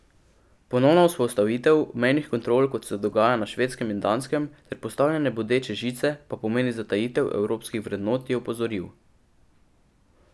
Ponovna vzpostavitev mejnih kontrol, kot se dogaja na Švedskem in Danskem, ter postavljanje bodeče žice pa pomeni zatajitev evropskih vrednot, je opozoril.